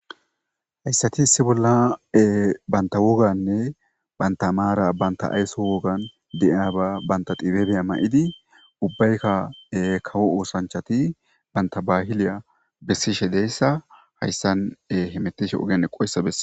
hayssati issi bolla banta woganne banta maara banta aysso wogan de7iyaaba banta dibebeya ma7idi ubbaykka kawo oosanchati banta bahiliya bessishe deyssa hayssan hemetishe ogeen qoyssa bessa